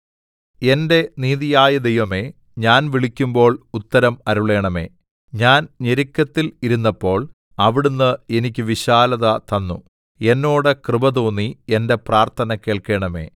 എന്റെ നീതിയായ ദൈവമേ ഞാൻ വിളിക്കുമ്പോൾ ഉത്തരം അരുളേണമേ ഞാൻ ഞെരുക്കത്തിൽ ഇരുന്നപ്പോൾ അവിടുന്ന് എനിക്ക് വിശാലത തന്നു എന്നോട് കൃപ തോന്നി എന്റെ പ്രാർത്ഥന കേൾക്കണമേ